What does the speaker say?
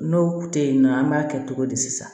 N'o tɛ yen nɔ an b'a kɛ cogo di sisan